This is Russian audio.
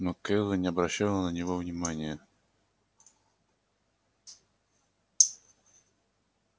но кэлвин не обращала на него внимания